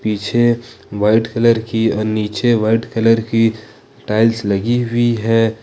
पीछे white colour की और नीचे वाइट कलर की टाइल्स लगी हुई है।